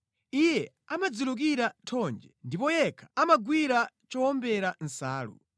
Iye amadzilukira thonje ndipo yekha amagwira chowombera nsalu.